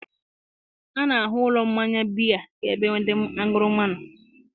a na-ahụ ụlọ mmanya biya ka ebe ndị aṅụrụma nọ